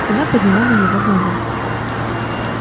она подняла на него глаза